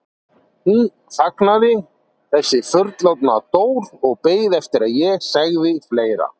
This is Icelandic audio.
Hún þagnaði, þessi fullorðna Dór og beið eftir að ég segði fleira.